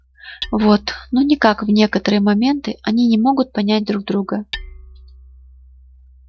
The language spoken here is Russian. вот ну никак в некоторые моменты они не могут понять друг друга